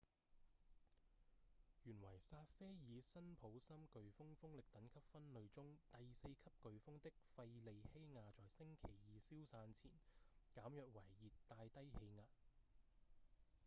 原為薩菲爾-辛普森颶風風力等級分類中第四級颶風的費莉希亞在星期二消散前減弱為熱帶低氣壓